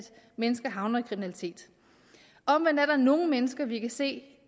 mennesker havner i kriminalitet omvendt er der nogle mennesker vi kan se